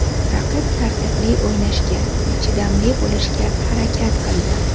Raqib tartibli o‘ynashga va chidamli bo‘lishga harakat qildi.